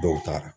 Dɔw taga